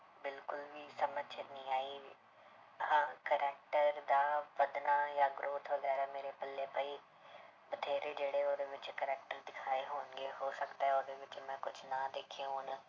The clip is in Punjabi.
ਬਿਲਕੁਲ ਵੀ ਸਮਝ 'ਚ ਨਹੀਂ ਆਈ, ਹਾਂ character ਦਾ ਵੱਧਣਾ ਜਾਂ growth ਵਗ਼ੈਰਾ ਮੇਰੇ ਪੱਲੇ ਪਈ, ਬਥੇਰੇ ਜਿਹੜੇ ਉਹਦੇ ਵਿੱਚ character ਦਿਖਾਏ ਹੋਣਗੇ ਹੋ ਸਕਦਾ ਹੈ ਉਹਦੇ ਵਿੱਚ ਮੈਂ ਕੁਛ ਨਾ ਦੇਖੇ ਹੋਣ,